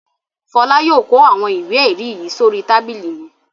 Fọlá yóò kó àwọn ìwé-ẹ̀rí yìí sórí tábìlì mi.